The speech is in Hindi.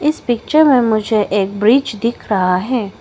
इस पिक्चर में मुझे एक ब्रिज दिख रहा है।